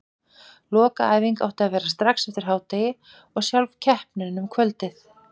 Lokaæfing átti að vera strax eftir hádegi og sjálf keppnin um kvöldið.